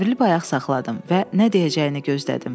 Çevrilib ayaq saxladım və nə deyəcəyini gözlədim.